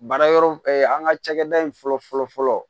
Baara yɔrɔ an ka cakɛda in fɔlɔ fɔlɔ fɔlɔ